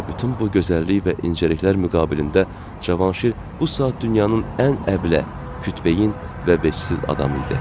Və bütün bu gözəllik və incəliklər müqabilində Cavanşir bu saat dünyanın ən əbləh, kütbeyin və vecsiz adam idi.